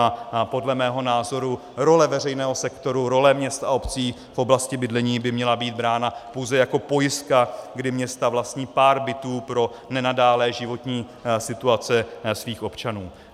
A podle mého názoru role veřejného sektoru, role měst a obcí v oblasti bydlení by měla být brána pouze jako pojistka, kdy města vlastní pár bytů pro nenadálé životní situace svých občanů.